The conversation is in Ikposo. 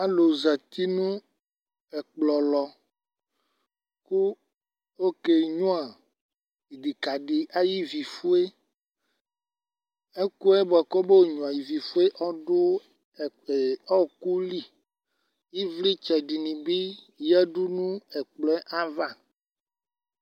Alu zati nu ɛkplɔ lɔ kɔ kenyua idikadi ayu ivifueEkuɛ buaku omenyua ivivifue ɔdu ɔwokueli Ivlitsɛ dinibi adu ɛkplɔ ayava